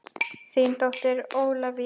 Þín dóttir Ólafía.